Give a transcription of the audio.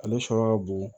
Ale sɔrɔ ka bon